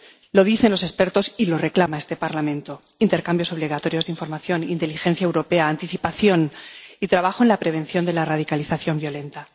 Lo dicen los expertos y lo reclama este Parlamento intercambios obligatorios de información, inteligencia europea, anticipación y trabajo en la prevención de la radicalización violenta.